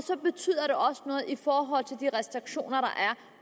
de restriktioner der